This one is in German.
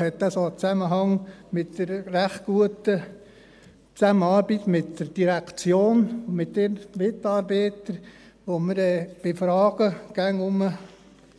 Natürlich hat dies auch einen Zusammenhang mit der recht guten Zusammenarbeit mit der Direktion und ihren Mitarbeitern, wo wir bei Fragen, immer